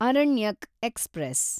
Aranyak express